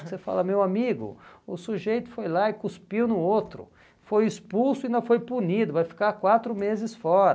Você fala, meu amigo, o sujeito foi lá e cuspiu no outro, foi expulso e ainda foi punido, vai ficar quatro meses fora.